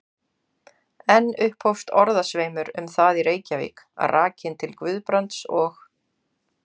Enn upphófst orðasveimur um það í Reykjavík, rakinn til Guðbrands og